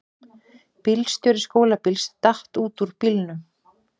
Bílstjóri skólabíls datt út úr bílnum